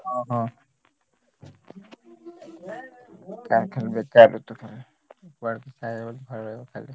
ହଁ ହଁ ବେକାର ଋତୁ କୁଆଡେ ଯାଇହବନି ଖାଲି ଘରେ ରହିବ ଖାଲି।